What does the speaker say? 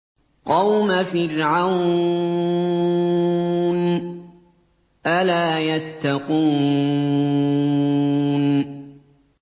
قَوْمَ فِرْعَوْنَ ۚ أَلَا يَتَّقُونَ